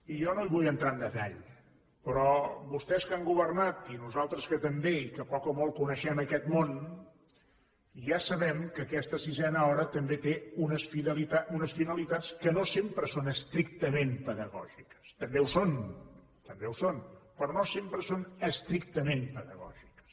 i jo no hi vull entrar en detall però vostès que han governat i nosaltres que també i que poc o molt coneixem aquest món ja sabem que aquesta sisena hora també té unes finalitats que no sempre són estrictament pedagògiques també ho són també ho són però no sempre són estrictament pedagògiques